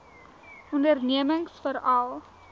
ondernemingsveral